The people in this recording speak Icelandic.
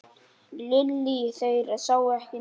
Lillý: Þeir sáu ekki neitt?